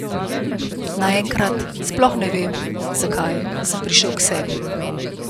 Naenkrat, sploh ne vem, zakaj, sem prišel k sebi.